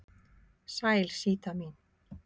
Sæl Síta mín.